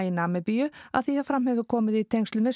í Namibíu að því er fram hefur komið í tengslum við